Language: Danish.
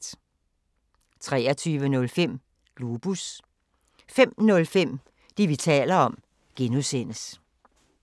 23:05: Globus 05:05: Det, vi taler om (G)